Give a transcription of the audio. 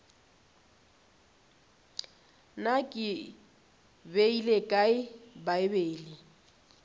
na ke beile kae bibele